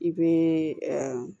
I bɛ